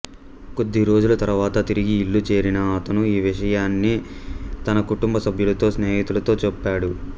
కొద్దిరోజుల తర్వాత తిరిగి ఇల్లు చేరిన అతను ఈ విషయాలన్నీ తన కుటుంబ సభ్యులతో స్నేహితులతో చెప్పాడు